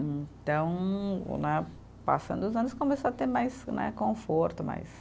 Então né, passando os anos, começou a ter mais né, conforto, mais.